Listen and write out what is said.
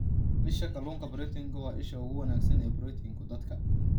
Isha Kalluunka Proteinku waa isha ugu wanaagsan ee borotiinka dadka.